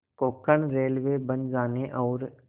Konkan railway बन जाने और